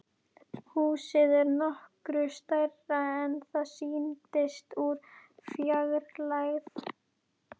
Húsið er nokkru stærra en það sýndist úr fjarlægð.